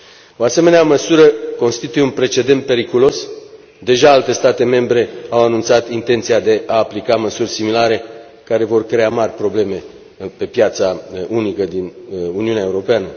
O asemenea măsură constituie un precedent periculos, deja alte state membre au anunțat intenția de a aplica măsuri similare care vor crea mari probleme pe piața unică din Uniunea Europeană.